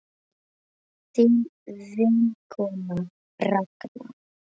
Þín vinkona Ragna.